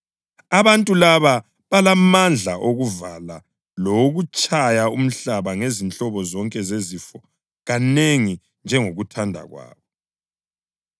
Abantu laba balamandla okuvala umkhathi ukuba izulu lingani lapho bephrofitha njalo balamandla okuphendula amanzi abe ligazi lawokutshaya umhlaba ngezinhlobo zonke zezifo kanengi njengokuthanda kwabo.